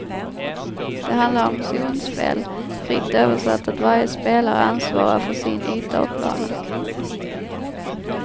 Det handlar om zonspel, fritt översatt att varje spelare ansvarar för sin yta av planen.